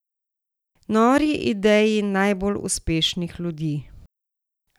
Nori ideji najbolj uspešnih ljudi.